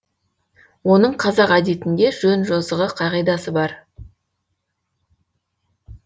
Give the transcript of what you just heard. оның қазақ әдетінде жөн жосығы қағидасы бар